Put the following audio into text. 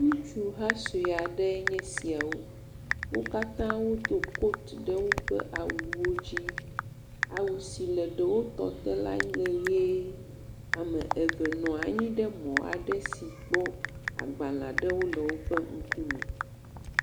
Ŋutsu ha sue aɖee nye esiawo. Wo katã wodo kotu ɖe woƒe awuwo dzi. Awu si le ɖewo tɔ te lae nye ʋie. Ame eve nɔ anyi ɖe mɔ aɖe si gbɔ agbale aɖewo le woƒe ŋkume.